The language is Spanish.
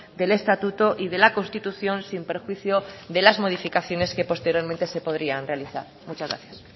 del estatuto y de la constitución sin perjuicio de las modificaciones que posteriormente se podrían realizar muchas gracias